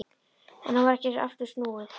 En nú var ekki aftur snúið.